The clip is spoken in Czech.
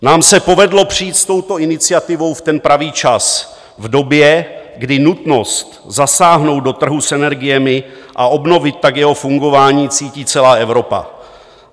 Nám se povedlo přijít s touto iniciativou v ten pravý čas, v době, kdy nutnost zasáhnout do trhu s energiemi a obnovit tak jeho fungování cítí celá Evropa.